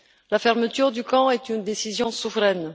La fermeture du camp est une décision souveraine.